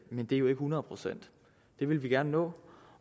men det er jo ikke hundrede procent det vil vi gerne nå